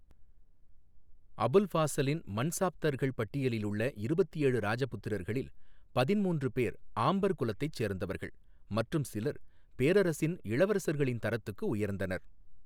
அபுல் ஃபாசலின் மன்சாப்தர்கள் பட்டியலில் உள்ள இருபத்தி ஏழு ராஜபுத்திரர்களில், பதின்மூன்று பேர் ஆம்பர் குலத்தைச் சேர்ந்தவர்கள் மற்றும் சிலர் பேரரசின் இளவரசர்களின் தரத்துக்கு உயர்ந்தனர்.